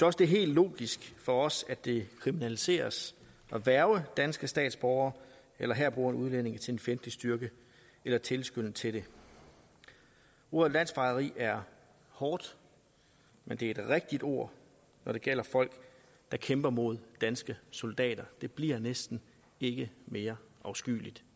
også helt logisk for os at det kriminaliseres at hverve danske statsborgere eller herboende udlændinge til en fjendtlig styrke eller tilskynde til det ordet landsforræderi er hårdt men det er et rigtigt ord når det gælder folk der kæmper mod danske soldater det bliver næsten ikke mere afskyeligt